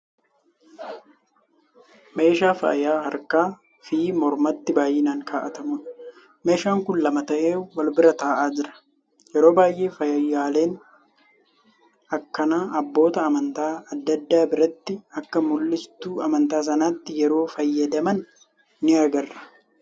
Meeshaa faayya harkaa fi mormatti baayinaan kaawwatamuudha. Meeshaan kun lama ta'ee wal bira ta'aa jira. Yeroo baay'ee faayyaaleen akkanaa abboota amantaa adda addaa biratti akka mul'istuu amantaa sanaatti yeroo fayyadaman ni agarra.